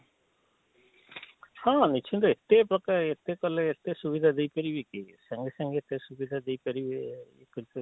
ହଁ ନିଶ୍ଚିନ୍ତେ ଏତେ ପ୍ରକାର ଏତେ କଲେ ଏତେ ସୁବିଧା ଦେଇ ପାରିବେ କିଏ ସାଙ୍ଗେ ସାଙ୍ଗେ ଏତେ ସୁବିଧା ଦେଇ ପାରିବେ କରି ପାରିବେ